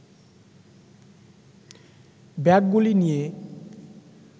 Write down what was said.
ব্যাগগুলি নিয়ে